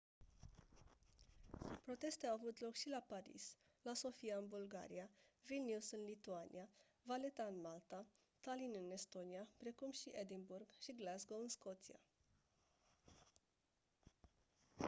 proteste au avut loc și la paris la sofia în bulgaria vilnius în lituania valetta în malta tallinn în estonia precum și edinburgh și glasgow în scoția